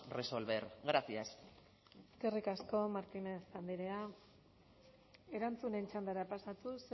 resolver gracias eskerrik asko martínez andrea erantzunen txandara pasatuz